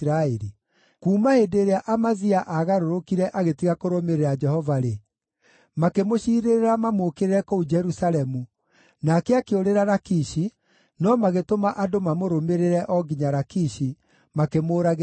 Kuuma hĩndĩ ĩrĩa Amazia aagarũrũkire agĩtiga kũrũmĩrĩra Jehova-rĩ, makĩmũciirĩrĩra mamũũkĩrĩre kũu Jerusalemu, nake akĩũrĩra Lakishi, no magĩtũma andũ mamũrũmĩrĩre o nginya Lakishi, makĩmũũragĩra kuo.